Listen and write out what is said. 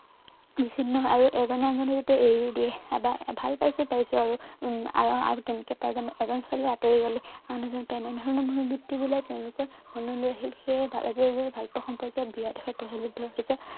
বিছিন্ন হয় আৰু এজনে আনজনক যেতিয়া এৰি দিয়ে বা ভাল পাইছ পাইছ আৰু উম আৰু তেনেকে পাই যাম এজন ছোৱালী আঁতৰি গলে আন এজন পায় এনেধৰণৰ মনোবিত্তি বোলে তেওঁলোকৰ মনলৈ আহিল সেই আজি আজি ভালপোৱা সম্পৰ্কীয় বেয়া দিশত প্ৰচলিত হৈছে